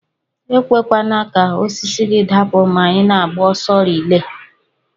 Ekwekwana ka osisi gi dapu ma ina agba ọsọ relay.